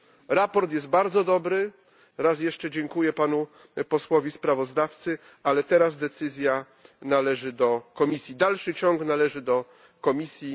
Sprawozdanie jest bardzo dobre raz jeszcze dziękuję panu posłowi sprawozdawcy ale teraz decyzja należy do Komisji. Dalszy ciąg należy do Komisji.